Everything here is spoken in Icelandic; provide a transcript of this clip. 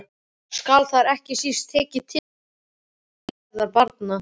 Skal þar ekki síst tekið tillit til velferðar barna.